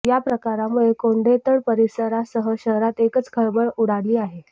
या प्रकारामुळे कोंढेतड परिसरासह शहरात एकच खळबळ उडाली आहे